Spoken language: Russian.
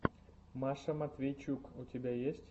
маша матвейчук у тебя есть